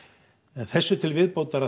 en þessu til viðbótar